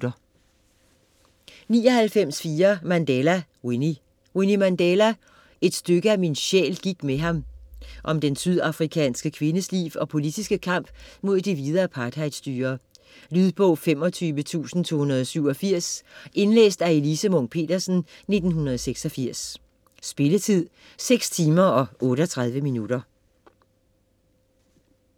99.4 Mandela, Winnie Mandela, Winnie: Et stykke af min sjæl gik med ham Om den sydafrikanske kvindes liv og politiske kamp mod det hvide apartheidstyre. Lydbog 25287 Indlæst af Elise Munch-Petersen, 1986. Spilletid: 6 timer, 38 minutter.